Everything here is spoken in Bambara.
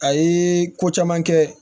A ye ko caman kɛ